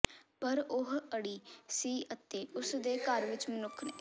ਪਰ ਉਹ ਅੜੀ ਸੀ ਅਤੇ ਉਸ ਦੇ ਘਰ ਵਿੱਚ ਮਨੁੱਖ ਨੇ